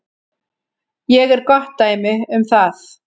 Ég er gott dæmi um það.